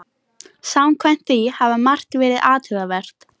Samkvæmt því hafi margt verið athugavert